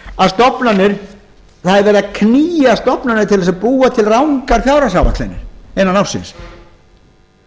að það er verið að knýja stofnanir til að búa til rangar fjárhagsáætlanir innan ársins